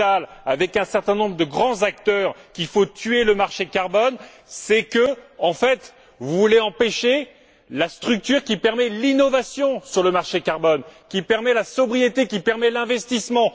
Mittal, et un certain nombre de grands acteurs, qu'il faut tuer le marché carbone, c'est que, en fait, vous voulez empêcher la structure qui permet l'innovation sur le marché carbone, qui permet la sobriété et qui permet l'investissement.